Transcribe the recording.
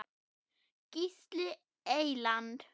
Gísli Eyland.